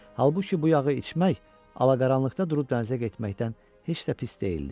Halbuki bu yağı içmək alaqaranlıqda durub dənizə getməkdən heç də pis deyildi.